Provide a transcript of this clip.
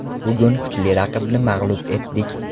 Bugun kuchli raqibni mag‘lub etdik.